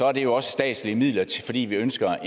er det jo også statslige midler fordi vi ønsker